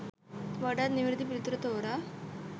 වඩාත් නිවැරැදි පිළිතුර තෝරා